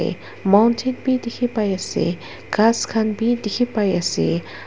mountain bi diki pai asae khas khan bi diki pai asae.